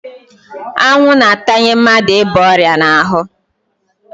Anwụ na-atanye mmadụ ịba ọrịa ịba n'ahụ.